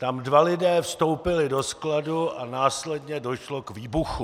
Tam dva lidé vstoupili do skladu a následně došlo k výbuchu.